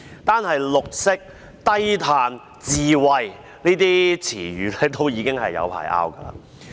單說"綠色"、"低碳"、"智慧"這些詞語，已經要爭拗很長時間。